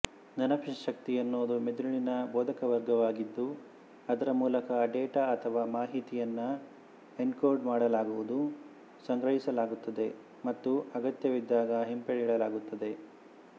ನೆನಪಿನಶಕ್ತಿ ಎನ್ನುವುದು ಮೆದುಳಿನ ಬೋಧಕವರ್ಗವಾಗಿದ್ದು ಅದರ ಮೂಲಕ ಡೇಟಾ ಅಥವಾ ಮಾಹಿತಿಯನ್ನು ಎನ್ಕೋಡ್ ಮಾಡಲಾಗುವುದು ಸಂಗ್ರಹಿಸಲಾಗುತ್ತದೆ ಮತ್ತು ಅಗತ್ಯವಿದ್ದಾಗ ಹಿಂಪಡೆಯಲಾಗುತ್ತದೆ